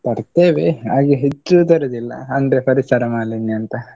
ತರ್ತೇವೆ, ಆದ್ರೆ ಹೆಚ್ಚು ತರುದಿಲ್ಲ, ಅಂದ್ರೆ ಪರಿಸರ ಮಾಲಿನ್ಯ ಅಂತ.